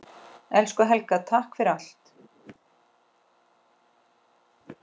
Elsku Helga, takk fyrir allt.